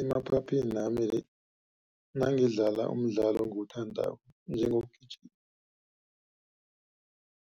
Emaphaphinami nangidlala umdlalo engiwuthandako njengokugijima,